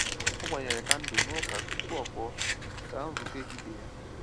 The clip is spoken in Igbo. O gbanyere kandụlụ n'ụka tupu ọ pụọ gaa nzukọ ehihie ya.